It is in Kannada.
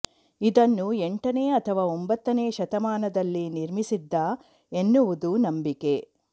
ಇದನ್ನು ಎಂಟನೇ ಅಥವಾ ಒಂಬತ್ತನೇ ಶತಮಾನದಲ್ಲಿ ನಿರ್ಮಿಸಿದ್ದ ಎನ್ನುವುದು ನಂಬಿಕೆ